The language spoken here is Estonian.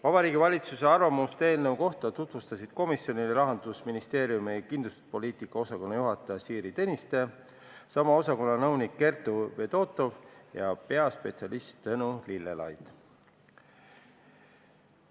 Vabariigi Valitsuse arvamust eelnõu kohta tutvustasid komisjonile Rahandusministeeriumi kindlustuspoliitika osakonna juhataja Siiri Tõniste, sama osakonna nõunik Kertu Fedotov ja peaspetsialist Tõnu Lillelaid.